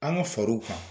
An ka far'u kan